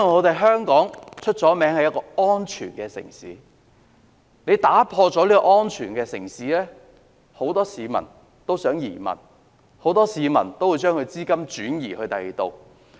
當香港的城市安全被破壞，很多市民便想移民，很多市民會把資金轉移到其他地方。